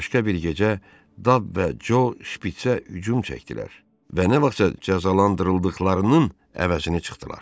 Başqa bir gecə Dab və Co şpiçə hücum çəkdilər və nə vaxtsa cəzalandırıldıqlarının əvəzini çıxdılar.